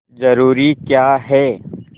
जरूरी क्या है